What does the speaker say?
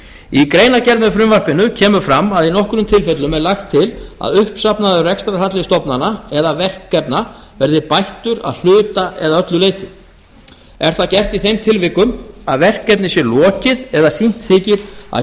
í greinargerð með frumvarpinu kemur fram að í nokkrum tilfellum er lagt til að uppsafnaður rekstrarhalli stofnana eða verkefna verði bættur að hluta eða öllu leyti er það gert í þeim tilvikum að verkefni sé lokið eða sýnt þykir að